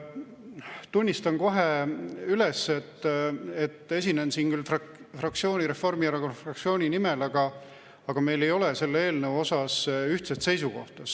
Tunnistan kohe üles, et esinen siin fraktsiooni, Reformierakonna fraktsiooni nimel, aga meil ei ole selle eelnõu osas ühtset seisukohta.